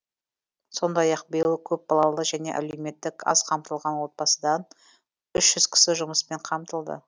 сондай ақ биыл көпбалалы және әлеуметтік аз қамтылған отбасыдан үш жүз кісі жұмыспен қамтылды